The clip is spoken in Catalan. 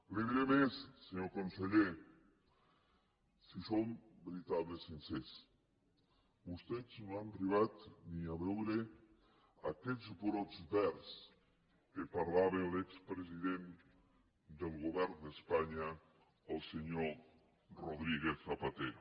li diré més senyor conseller si som veritablement sincers vostès no han arribat ni a veure aquells brots verds de què parlava l’expresident del govern d’espanya el senyor rodríguez zapatero